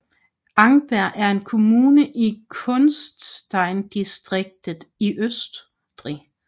Angerberg er en kommune i Kufsteindistriktet i Østrig